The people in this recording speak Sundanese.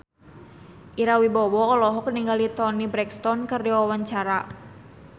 Ira Wibowo olohok ningali Toni Brexton keur diwawancara